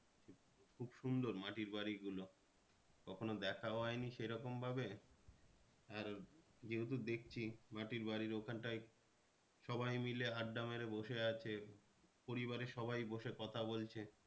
খুব সুন্দর মাটির বাড়ি গুলো কখনো দেখাও হয়নি সে রকম ভাবে আর যেহেতু দেখছি মাটির বাড়ির ওখানটায় সবাই মিলে আড্ডা মেরে বসে আছে পরিবারের সবাই বসে কথা বলছে।